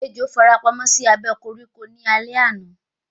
Ejò farapamọ́ sí abẹ́ koríko ní alé àná